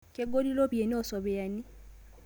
Kegoli ropiyani oo sopiyani